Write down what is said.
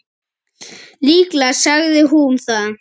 Líklega sagði hún það.